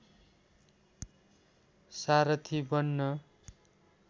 सारथी बन्न